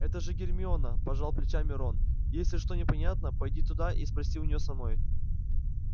это же гермиона пожал плечами рон если что непонятно пойди туда и спроси у нее самой